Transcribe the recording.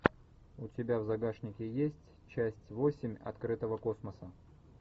у тебя в загашнике есть часть восемь открытого космоса